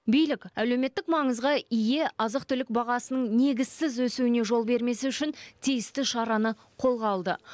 билік әлеуметтік маңызға ие азық түлік бағасының негізсіз өсуіне жол бермес үшін тиісті шараны қолға алды